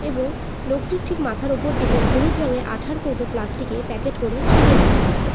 এবং লোকটির ঠিক মাথার ওপর দিকে হলুদ রঙের আঠার কৌটো প্লাস্টিকে প্যাকেট করে ঝুলিয়ে রাখা হয়েছে।